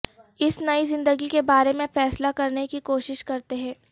اس نئی زندگی کے بارے میں فیصلہ کرنے کی کوشش کرتے ہیں